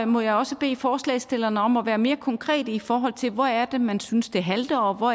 må jeg også bede forslagsstillerne om at være mere konkrete i forhold til hvor der er man synes det halter og hvor